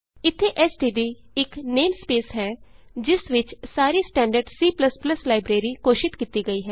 ਇਥੇ ਐਸਟੀਡੀ ਇਕ ਨੇਮਸਪੇਸ ਹੈ ਜਿਸ ਵਿਚ ਸਾਰੀ ਸਟੈਂਡਰਡ C ਲਾਈਬਰੇਰੀ ਘੋਸ਼ਿਤ ਕੀਤੀ ਗਈ ਹੈ